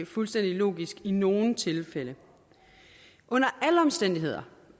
fuldstændig logisk i nogle tilfælde under alle omstændigheder